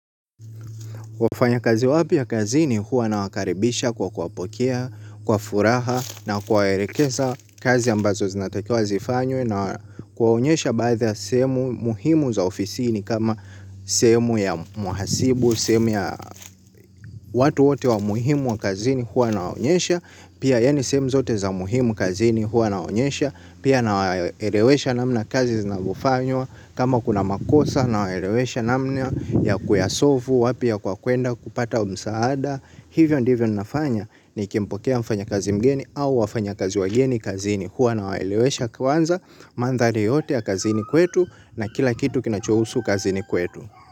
Wafanyakazi wapya kazini huwa nawakaribisha kwa kuwapokea, kwa furaha na kuwaelekeza kazi ambazo zinatakiwa zifanywe na kuwaonyesha baadhi ya sehemu muhimu za ofisini kama sehemu ya muhasibu, sehemu ya watu wote wa muhimu wa kazini huwa nawaonyesha, pia yaani sehemu zote za muhimu kazini huwa nawaonyesha, pia nawaelewesha namna kazi zinavyofanywa kama kuna makosa nawaelewesha namna ya kuyasolvu wapi ya kwa kuenda kupata msaada, hivyo ndivyo ninafanya nikimpokea mfanya kazi mgeni au wafanya kazi wageni kazini huwa nawaelewesha kwanza mandhari yote ya kazini kwetu na kila kitu kinachuhusu kazini kwetu.